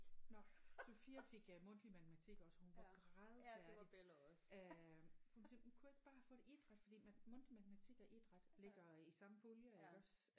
Nåh Sophia fik øh mundtlig matematik også hun var grædefærdig øh hun siger hun kunne ikke bare have fået idræt fordi mundtlig matematik og idræt ligger i samme pulje iggås